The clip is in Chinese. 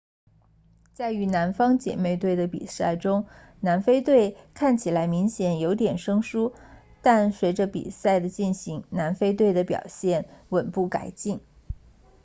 在与南方姐妹队的比赛中南非队看起来明显有点生疏但随着比赛的进行南非队的表现稳步改进